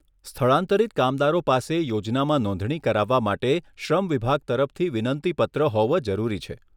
સ્થળાંતરિત કામદારો પાસે યોજનામાં નોંધણી કરાવવા માટે શ્રમ વિભાગ તરફથી વિનંતી પત્ર હોવો જરૂરી છે.